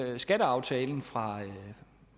at skatteaftalen fra